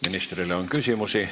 Ministrile on küsimusi.